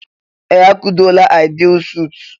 Ee! A kụtuola Aịdịil suut.